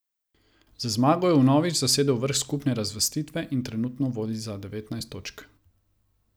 Z zmago je vnovič zasedel vrh skupne razvrstitve in trenutno vodi za devetnajst točk.